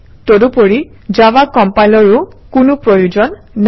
তদুপৰি জাভা কম্পাইলাৰৰো কোনো প্ৰয়োজন নাই